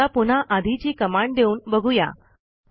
आता पुन्हा आधीची कमांड देऊन बघू या